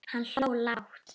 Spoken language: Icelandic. Hann hló lágt.